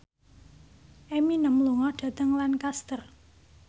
Eminem lunga dhateng Lancaster